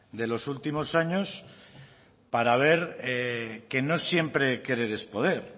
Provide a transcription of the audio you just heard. de los últimos años para ver que no siempre querer es poder